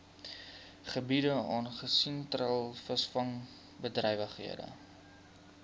gebiede aangesien treilvisvangbedrywighede